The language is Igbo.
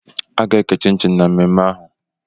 A ga-eke chinchin na mmemme ahụ